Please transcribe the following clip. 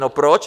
No proč?